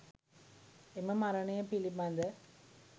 එම මරණය පිළිබඳ